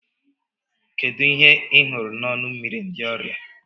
Kedu ihe ị hụrụ n'ọnụ mmiri ndị ọrịa?